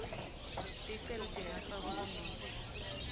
ticelo tingafakwa kunobe